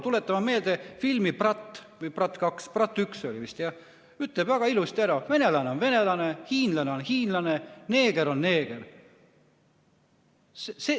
Tuletame meelde filmi "Brat" – "Brat 1" oli vist, jah – see ütleb väga ilusti ära: venelane on venelane, hiinlane on hiinlane, neeger on neeger.